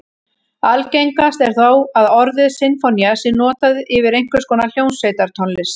Algengast er þó að orðið sinfónía sé notað yfir einhvers konar hljómsveitartónlist.